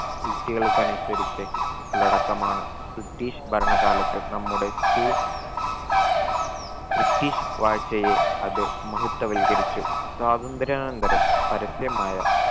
യുക്തികൾക്കനുസരിച്ച് ഉള്ളടക്കമാണ് british ഭരണ കാലത്ത് നമ്മുടെ school british വാഴ്ചയെ അത് മഹത്വവൽകരിച്ചു സ്വാതന്ത്ര്യാനന്തരം പരസ്യമായ